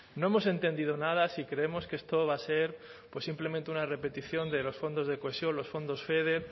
no hemos entendido nada si creemos que esto va a ser pues simplemente una repetición de los fondos de cohesión los fondos feder